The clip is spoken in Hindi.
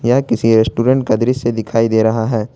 यह किसी रेस्टोरेंट का दृश्य दिखाई दे रहा है।